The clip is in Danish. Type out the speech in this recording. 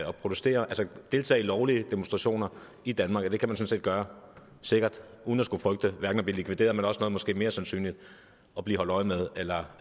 protestere og deltage i lovlige demonstrationer i danmark sikkert uden at skulle frygte at blive likvideret eller måske mere sandsynligt at blive holdt øje med eller